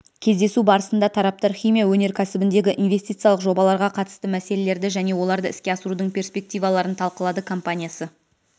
кездесу барысында тараптар химия өнеркәсібіндегі инвестициялық жобаларға қатысты мәселелерді және оларды іске асырудың перспективаларын талқылады компаниясы